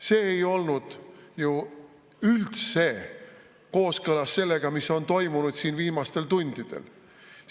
See ei olnud ju üldse kooskõlas sellega, mis on viimastel tundidel toimunud.